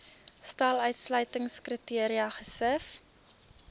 stel uitsluitingskriteria gesif